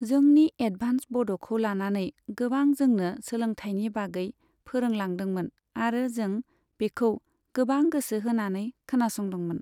जोंनि एदभान्स बड'खौ लानानै गोबां जोंनो सोलोंथाइनि बागै फोरोंलांदोंमोन आरो जों बेखौ गोबां गोसो होनानै खोनासंदोंमोन।